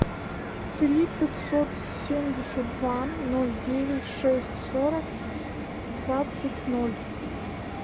три пятьсот семьдесят два ноль девять шесть сорок двадцать ноль